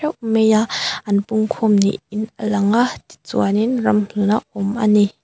mei a an pung khawm niin a lang a tichuanin ramhlun a awm ani.